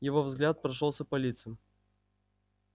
его взгляд прошёлся по лицам